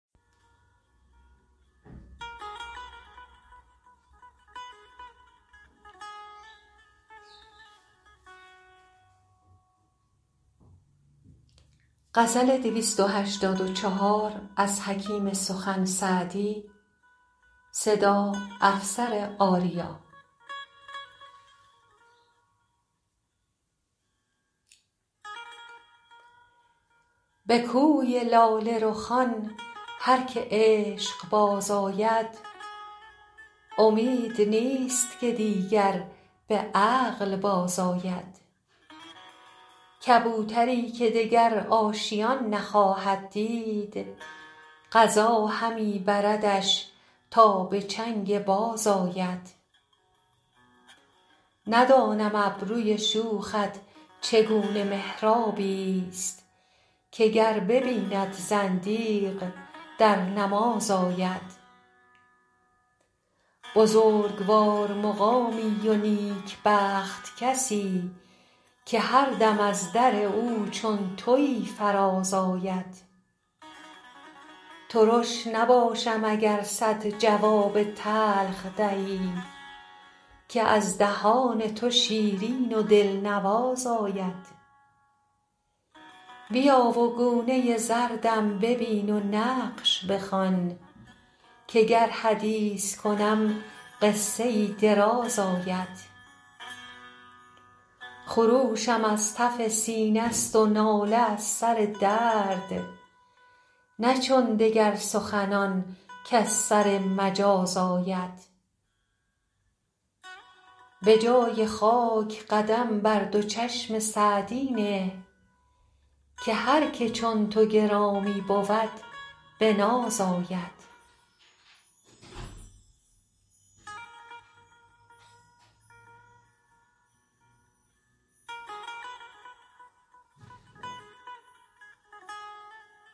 به کوی لاله رخان هر که عشق باز آید امید نیست که دیگر به عقل بازآید کبوتری که دگر آشیان نخواهد دید قضا همی بردش تا به چنگ باز آید ندانم ابروی شوخت چگونه محرابی ست که گر ببیند زندیق در نماز آید بزرگوار مقامی و نیکبخت کسی که هر دم از در او چون تویی فراز آید ترش نباشم اگر صد جواب تلخ دهی که از دهان تو شیرین و دلنواز آید بیا و گونه زردم ببین و نقش بخوان که گر حدیث کنم قصه ای دراز آید خروشم از تف سینه ست و ناله از سر درد نه چون دگر سخنان کز سر مجاز آید به جای خاک قدم بر دو چشم سعدی نه که هر که چون تو گرامی بود به ناز آید